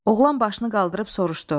Oğlan başını qaldırıb soruşdu: